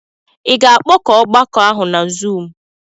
I ga-akpọkọ ọgbakọ ahụ na Zuumu?